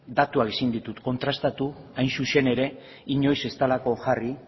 datuekin ezin ditut kontrastatu hain zuzen ere inoiz ez dalako jarri